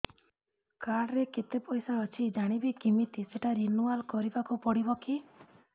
card ରେ କେତେ ପଇସା ଅଛି ଜାଣିବି କିମିତି ସେଟା ରିନୁଆଲ କରିବାକୁ ପଡ଼ିବ କି